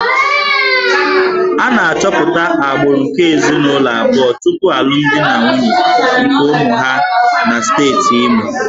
A na-achọpụta agbụrụ nke ezinụlọ abụọ tupu alụmdi na nwunye nke ụmụ ha na steeti Imo